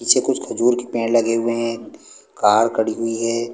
नीचे कुछ खजूर के पेड़ लगे हुए है कार खड़ी हुई है।